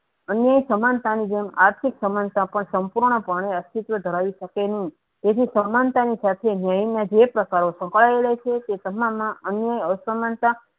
અન્ય સમાનતા ની જેમ આર્થીક સમાનતા પણ સંપૂર્ણ અસ્તીત્વ ધરાયી સકે નહી એ જે સમાનતા ની સાથે હેડી જે પ્રકારો છુપાયેલા છે તે સમા મા અન્ય અસમાનતા